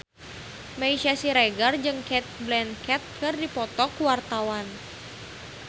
Meisya Siregar jeung Cate Blanchett keur dipoto ku wartawan